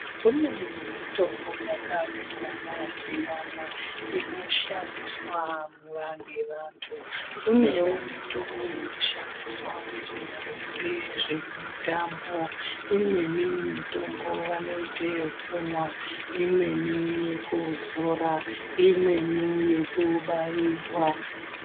Kune mutombo yakasiyana-siyana inoshandiswa nguva ngevantu. Kunewo mitombo inoshandiswa ngezvevanoite zvemutambo. Imweni mutombo vanoite yekumwa, imweni yekuzora, imweni yekubairwa.